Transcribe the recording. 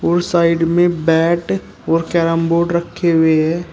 और साइड में बैट और कैरम बोर्ड रखे हुए है।